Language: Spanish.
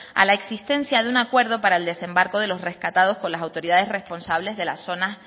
a la existencia de un acuerdo para el desembarco de los rescatados por las autoridades responsables de la zona